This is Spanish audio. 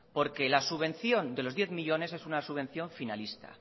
porque la subvención de los diez millónes es una subvención finalista